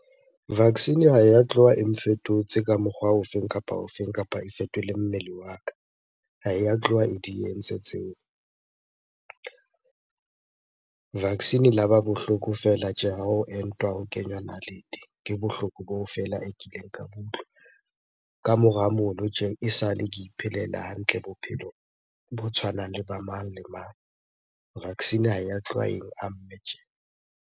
Vaccine ha ya tloha e nfetotse ka mokgwa ofeng kapa ofeng kapa e fetole mmele wa ka. Ha ya tloha e di entse tseo. Vaccine e la ba bohloko fela tje hao entwa, o kenywa nalete. Ke bohloko boo feela e kileng ka bo utlwa. Ka mora mono tje, e sale ke iphelela hantle bophelo bo tshwanang le ba mang le mang. Vaccine ha ya tloha eng amme tje.